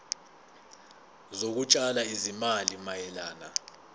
zokutshala izimali mayelana